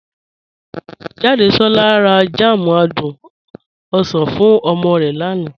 Jàdésolá rà jam àdùn osan fún omo rẹ lánà.